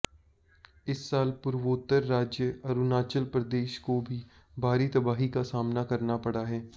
इस साल पूर्वोत्तर राज्य अरुणाचल प्रदेश को भी भारी तबाही का सामना करना पड़ा है